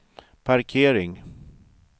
parkering